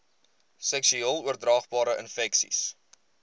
seksueel oordraagbare infeksies